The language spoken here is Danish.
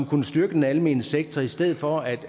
kunne styrke den almene sektor i stedet for at